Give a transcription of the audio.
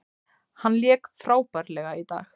Hann lék frábærlega í dag.